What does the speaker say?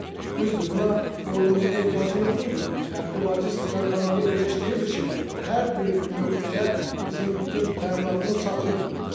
Düzdür, buna ordumuzun ehtiyacı yox idi, hərbi logistika kanalı elə işləyirdi ki, hər bir nöqtəyə bizim bütün təminatımız çatırdı.